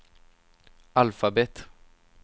alfabet